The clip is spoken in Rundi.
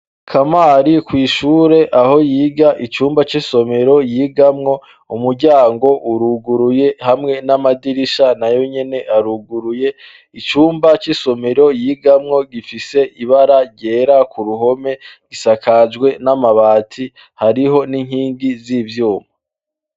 Kamari kw'ishure aho yiga icumba c'isomero yigamwo umuryango uruguruye hamwe n'amadirisha na yo nyene aruguruye icumba c'isomero yigamwo gifise ibara ryera ku ruhome gisakajwe n'amabati hariho n'inkingi z'ivyuma.